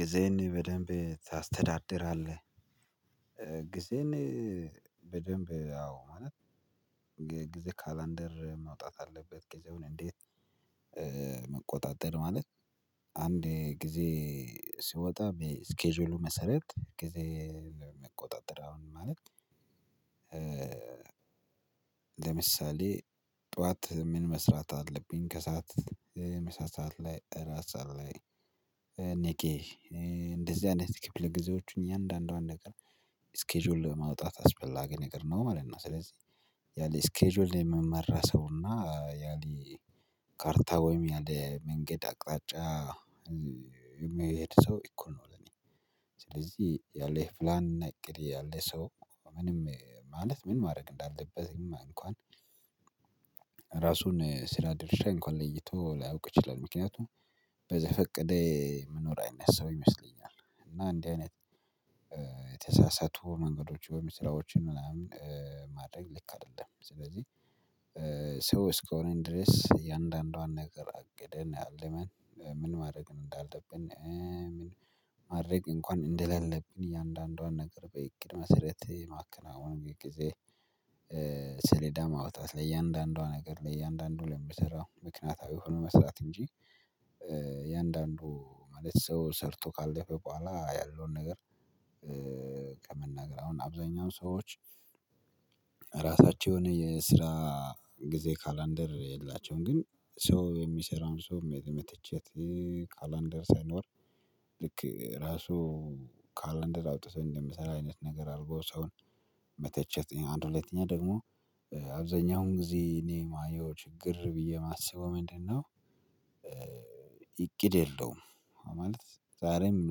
"ጊዜን በደንብ ታስተዳድራለህ?" ጊዜን በደንብ አዎ ማለት ጊዜ ካላንደር መውጣት አለበት። ጊዜውን እንዴት መቆጣጠር ማለት አንድ ጊዜ ሲወጣ በስኬጁሉ መሰረት ጊዜ መቆጣጠር አሁንም ማለት ለምሳሌ ጠዋት ምን መስራት አለብኝ ከሰአት ምሳ ሰዓት ላይ እራት ሰዓት ላይ እኔጌ እንደዚህ አይነት ክፍለ ጊዜዎችን እያንዳንዷን ነገር ስኬጁል ማውጣት አስፈላጊ ነገር ነው ማለት ነው። ስለዚህ ያለ ስኬጁል ላይ የሚመራ ሰው እና ያሊ ካርታ ወይም ያለ መንገድ አቅጣጫ የሚሄድ ሰው እኮ ነው ለኔ ስለዚህ ያለ ፕላን እቅድ ያለ ሰው ምንም ማለት ምን ማድረግ እንዳለበትም እንኳን ራሱን ስራ ድርሻ እንኳን ለይቶ ላያውቅ ይችላል። ምክንያቱም በዘፈቀደ ሚኖር አይነት ሰው ይመስለኛል፤ እና እንዲህ አይነት የተሳሳቱ መንገዶች ወይም ስራዎችን ምናምን ማድረግ ልክ አይደለም። ስለዚህ ሰው እስከሆንን ድረስ እያንዳንዷን ነገር አቅደን አለመን ምን ማድረግ እንዳለብን ምን ማድረግ እንኳን እንደሌለብን እያንዳንዷን ነገር በእቅድ መሰረት ማከናወን የጊዜ ሰሌዳ ማውጣት ለእያንዳንዷ ነገር ለእያንዳንዷ ለምትሰራው ምክንያታዊ ሆኖ መስራት እንጂ እያንዳንዱ ማለት ሰው ሰርቶ ካለፈ በኋላ ያለውን ነገር ከመናገር አሁን አብዛኛው ሰዎች ራሳቸውን የስራ ጊዜ ካላንደር የላቸውም ግን ሰው የሚሰራውን ሰው መተቸት ካላንደር ሳይኖር ልክ ራሱ ካላንደር አውጥቶ እንደምሰራ አይነት ነገር አድርጎ ሰውን መተቸት አንድ ሁለተኛ ደግሞ አብዛኛውን ጊዜ እኔ ማየው ችግር ብዬ የማስበው ምንድነው እቂድ የለውም። ማለት ዛሬም ምን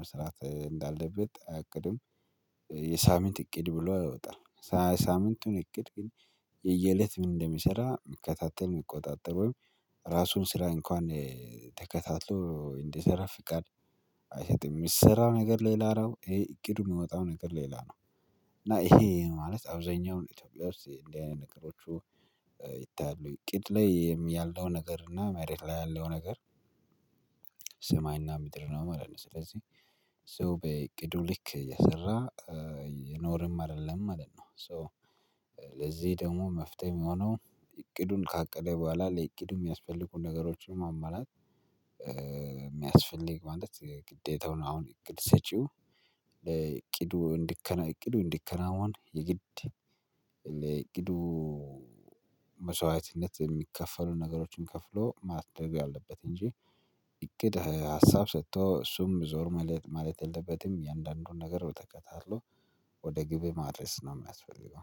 መስራት እንዳለበት አያቅድም። የሳምንት እቅድ ብሎ አያወጣም። ሳምንቱን እቅድ ግን የየእለት ምን እንደሚሰራ ሚከታተል ሚቆጣጠር ወይም ራሱን ስራ እንኳን ተከታትሎ እንዲሰራ ፍቃድ አይሰጥም። የምሰራው ነገር ሌላ ነው ይሄ እቅዱ የሚወጣው ነገር ሌላ ነው፤ እና ይሄ ማለት አብዛኛውን ኢትዮጵያ ውስጥ እንዲህ አይነት ነገሮቹ ይታያሉ። እቅድ ላይ ያለው ነገር እና መሬት ላይ ያለው ነገር ሰማይና ምድር ነው ማለት ነው። ስለዚህ ሶ በእቅዱ ልክ እየሰራ እየኖርንም አይደለም ማለት ነው። ሶ ለዚህ ደግሞ መፍትሄ የሚሆነው እቅዱን ካቀደ በኋላ ለእቅዱ የሚያስፈልጉን ነገሮችን ማሟላት የሚያስፈልግ ማለት ግዴታውን አሁን እቅድ ሰጪው እቅዱ እንዲከናወን እቅዱ እንዲከናወን የግድ ለእቅዱ መስዋዕትነት የሚከፈሉ ነገሮችን ከፍሎ ማድረግ አለበት እንጂ እቅድ ሀሳብ ሰጥቶ እሱም ዞር ማለት ማለት የለበትም እያንዳንዱን ነገር በተከታተሎ ወደ ግብ ማድረስ ነው የሚያስፈልገው።